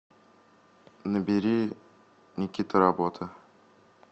набери никита работа